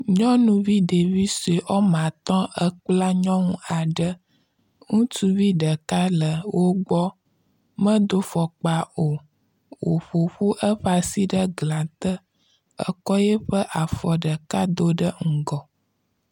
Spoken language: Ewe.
Nyɔnuvi ɖevi sue wɔme atɔ ekpla nyɔnu aɖe. Ŋutsuvi ɖeka le wogbɔ medo fɔkpa o. woƒoƒu eƒe asi ɖe glate ekɔ eƒe afɔ ɖeka do ɖe ŋgɔ.